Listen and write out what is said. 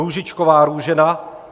Růžičková Růžena